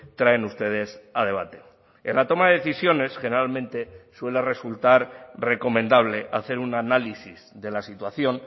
traen ustedes a debate en la toma de decisiones generalmente suele resultar recomendable hacer un análisis de la situación